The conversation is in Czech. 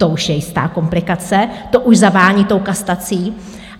To už je jistá komplikace, to už zavání tou kastací.